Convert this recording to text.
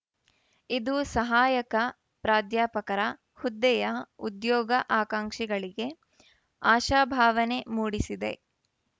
ಇದು ಸಹಾಯಕ ಪ್ರಾಧ್ಯಾಪಕರ ಹುದ್ದೆಯ ಉದ್ಯೋಗ ಆಕಾಂಕ್ಷಿಗಳಿಗೆ ಆಶಾಭಾವನೆ ಮೂಡಿಸಿದೆ